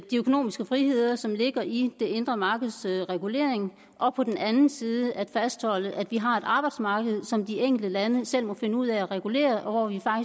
økonomiske friheder som ligger i det indre markeds regulering og på den anden side at fastholde at vi har et arbejdsmarked som de enkelte lande selv må finde ud af at regulere og hvor vi